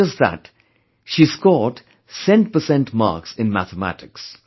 Not just that, she scored cent per cent marks in Mathematics